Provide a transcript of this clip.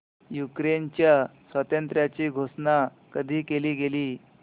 युक्रेनच्या स्वातंत्र्याची घोषणा कधी केली गेली